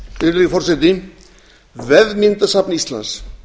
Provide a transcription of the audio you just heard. virðulegi forseti vefmyndasafn íslands